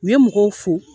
U ye mɔgɔw fo